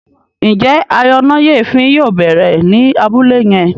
Njé ayọnáyèéfín yóò bẹrẹ ní Abúlé yén?